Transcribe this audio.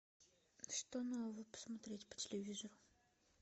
что нового посмотреть по телевизору